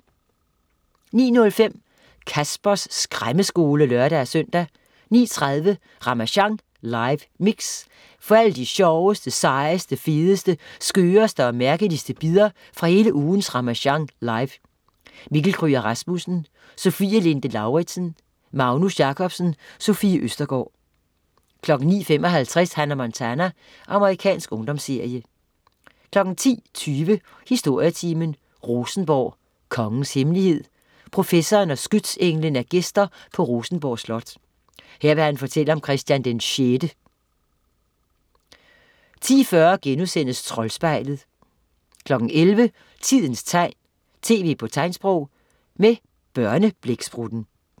09.05 Caspers Skræmmeskole (lør-søn) 09.30 Ramasjang live mix. Få alle de sjoveste, sejeste, fedeste, skøreste og mærkeligste bidder fra hele ugens Ramasjang Live. Mikkel Kryger Rasmussen, Sofie Linde Lauridsen, Magnus Jacobsen, Sofie Østergaard 09.55 Hannah Montana. Amerikansk ungdomsserie 10.20 Historietimen: Rosenborg. "Kongens hemmelighed" Professoren og skytsenglen er gæster på Rosenborg Slot. Her vil han fortælle om Christian VI 10.40 Troldspejlet* 11.00 Tidens tegn, tv på tegnsprog. Med Børneblæksprutten